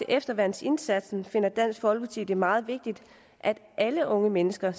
efterværnsindsatsen finder dansk folkeparti det meget vigtigt at alle unge mennesker